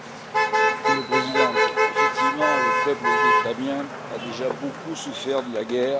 Madame la Présidente, effectivement, le peuple vietnamien a déjà beaucoup souffert de la guerre.